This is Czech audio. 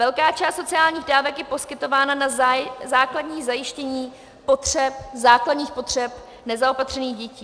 Velká část sociálních dávek je poskytována na základní zajištění základních potřeb nezaopatřených dětí.